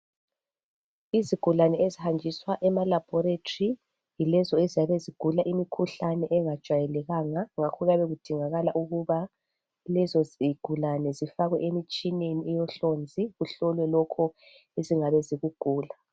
Izigulane ezihanjiswa ema laboratory yilezo eziyabe zigula imikhuhlane engajwayelekanga ngakho kuyabe kudingakala ukuba lezo zigulane zifakwe emitshineni eyohlonzi kuhlolwe lokhu ezingabe zikugula.